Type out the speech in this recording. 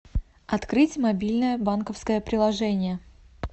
открыть мобильное банковское приложение